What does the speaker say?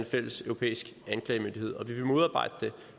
fælles europæisk anklagemyndighed og vi vil modarbejde det